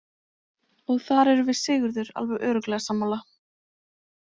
Og þar erum við Sigurður alveg örugglega sammála.